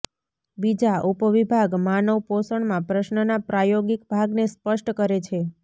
બીજા ઉપવિભાગ માનવ પોષણમાં પ્રશ્નના પ્રાયોગિક ભાગને સ્પષ્ટ કરે છે